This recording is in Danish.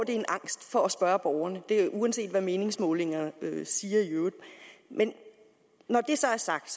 en angst for at spørge borgerne uanset hvad meningsmålingerne siger i øvrigt men når det så er sagt